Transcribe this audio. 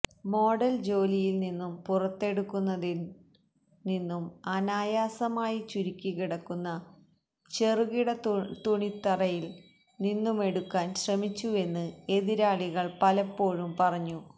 model ജോലിയിൽ നിന്നും പുറത്തെടുക്കുന്നതിൽ നിന്നും അനായാസമായി ചുരുക്കിക്കിടക്കുന്ന ചെറുകിട തുണിത്തറയിൽ നിന്നുമെടുക്കാൻ ശ്രമിച്ചുവെന്ന് എതിരാളികൾ പലപ്പോഴും പറഞ്ഞു